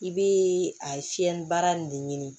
I bɛ a fiyɛlibara de ɲini